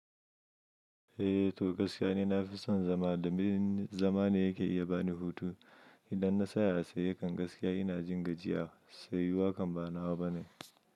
Eh to gaskiya ni na fi son zama do min zama ne yake iya ba ni hutu. Idan na tsaya a tsaye jam gaskiya ina jin gajiya. Tsayuwa kan ba nawa bane.